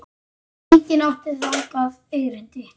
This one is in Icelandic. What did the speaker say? Enginn átti þangað erindi.